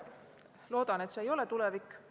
Loodan, et see ei ole tulevik.